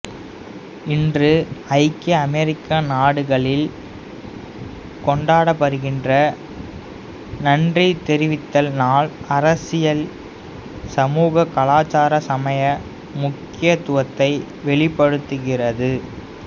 இன்று ஐக்கிய அமெரிக்க நாடுகளில் கொண்டாடப்படுகின்ற நன்றி தெரிவித்தல் நாள் அரசியல் சமூக கலாச்சார சமய முக்கியத்துவத்தை வெளிப்படுத்துகிறது